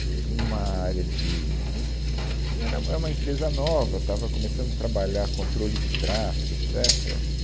que tinha uma área de... é, hum era, é, uma empresa nova, estava começando a trabalhar controle de tráfego, etcetera.